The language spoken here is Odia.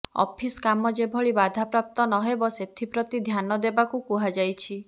ଅଫିସ କାମ ଯେଭଳି ବାଧାପ୍ରାପ୍ତ ନହେବ ସେଥିପ୍ରତି ଧ୍ୟାନ ଦେବାକୁ କୁହାଯାଇଛି